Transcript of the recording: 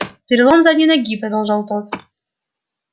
перелом задней ноги продолжал тот